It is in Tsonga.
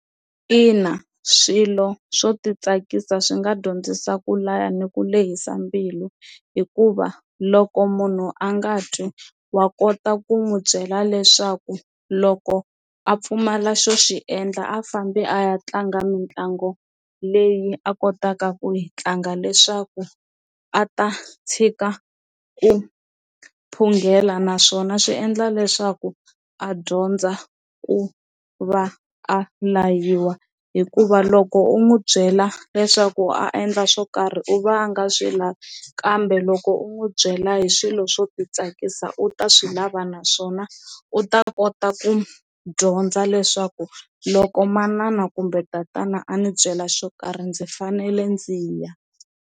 Ina swilo swo ti tsakisa swi nga dyondzisa ku laya ni ku lehisa mbilu hikuva loko munhu a nga twi wa kota ku n'wi byela leswaku loko a pfumala xo xi endla a fambi a ya tlanga mitlangu leyi a kotaka ku yi tlanga leswaku a ta tshika ku phungela, naswona swi endla leswaku a dyondza ku va a layiwa hikuva loko u n'wi byela leswaku a endla swo karhi u vanga swi lavi kambe loko u n'wi byela hi swilo swo ti tsakisa u ta swi lava naswona u ta kota ku dyondza leswaku loko manana kumbe tatana a ni byela swo karhi ndzi fanele ndzi ya.